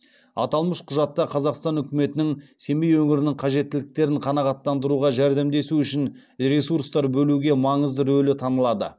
аталмыш құжатта қазақстан үкіметінің семей өңірінің қажеттіліктерін қанағаттандыруға жәрдемдесу үшін ресурстар бөлуге маңызды рөлі танылады